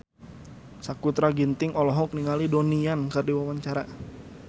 Sakutra Ginting olohok ningali Donnie Yan keur diwawancara